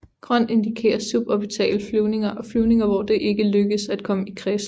Grøn indikerer suborbitale flyvninger og flyvninger hvor det ikke lykkedes at komme i kredsløb